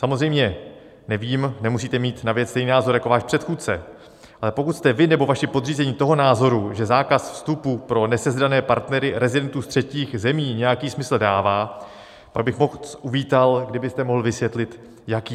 Samozřejmě nevím, nemusíte mít na věc stejný názor jako váš předchůdce, ale pokud jste vy nebo vaši podřízení toho názoru, že zákaz vstupu pro nesezdané partnery rezidentů z třetích zemí nějaký smysl dává, pak bych moc uvítal, kdybyste mohl vysvětlit jaký.